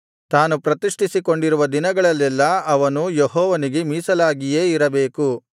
ತಾನು ಪ್ರತಿಷ್ಠಿಸಿಕೊಂಡಿರುವ ದಿನಗಳೆಲ್ಲೆಲ್ಲಾ ಅವನು ಯೆಹೋವನಿಗೆ ಮೀಸಲಾಗಿಯೇ ಇರಬೇಕು